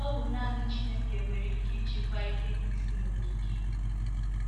Ọ bụ nanị Chineke nwere ike ịchịkwa ike ndị si n’okike.